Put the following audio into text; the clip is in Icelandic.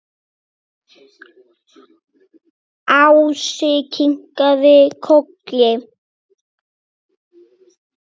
Ási kinkaði kolli.